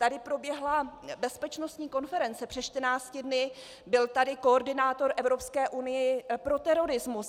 Tady proběhla bezpečnostní konference před 14 dny, byl tady koordinátor Evropské unie pro terorismus.